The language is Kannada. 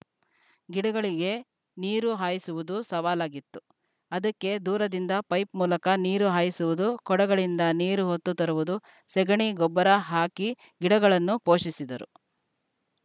ಗಿಡಗಳಿಗೆ ನೀರು ಹಾಯಿಸುವುದು ಸವಾಲಾಗಿತ್ತು ಅದಕ್ಕೆ ದೂರದಿಂದ ಪೈಪ್‌ ಮೂಲಕ ನೀರು ಹಾಯಿಸುವುದು ಕೊಡಗಳಿಂದ ನೀರು ಹೊತ್ತು ತರುವುದು ಸೆಗಣಿ ಗೊಬ್ಬರ ಹಾಕಿ ಗಿಡಗಳನ್ನು ಪೋಷಿಸಿದರು